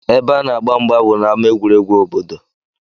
Ebe a na-agba mgba bụ n'ámá egwuregwu obodo